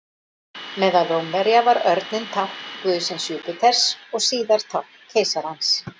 Meðal Rómverja var örninn tákn guðsins Júpíters og síðar tákn keisarans.